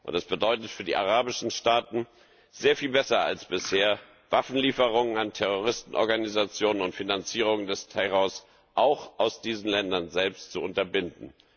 Das bedeutet für die arabischen Staaten, sehr viel besser als bisher Waffenlieferungen an Terroristenorganisationen und die Finanzierung des Terrors auch aus diesen Ländern selbst zu unterbinden.